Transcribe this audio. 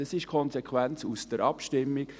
Das ist die Konsequenz dieser Abstimmung.